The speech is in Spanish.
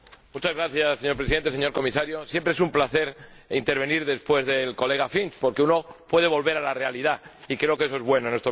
Señor Presidente, señor Comisario, siempre es un placer intervenir después del señor Finch, porque uno puede volver a la realidad, y creo que eso es bueno, en estos momentos.